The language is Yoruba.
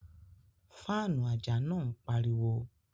Faanu aja naa npariwo